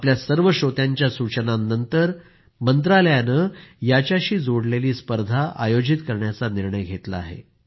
आपल्या सर्व श्रोत्यांच्या सूचनांनंतर मंत्रालयानं याच्याशी जोडलेली स्पर्धा आयोजित करण्याचा निर्णय घेतला आहे